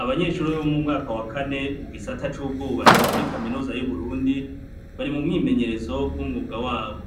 Abanyeshuri bo mu mwaka wa kane mu gisata c'ubwubatsi muri kaminusa y'uburundi bari mu mwimenyerezo w'umwuga wabo